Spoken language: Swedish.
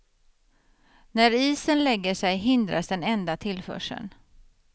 När isen lägger sig hindras den enda tillförseln.